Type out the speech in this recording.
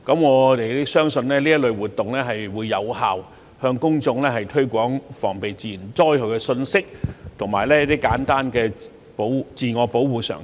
我們相信這類活動將有效向公眾推廣防備自然災害的信息及簡單的自我保護常識。